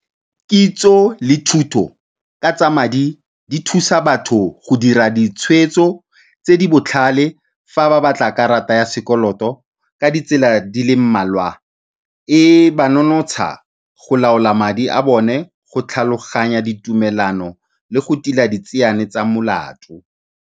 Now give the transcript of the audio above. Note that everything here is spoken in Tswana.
Kitso le thuto ka tsa madi di thusa batho go dira ditshweetso tse di botlhale fa ba batla karata ya sekoloto ka ditsela di le mmalwa. E ba nonotsha go laola madi a bone, go tlhaloganya ditumelano le go tila ditseane tsa molato.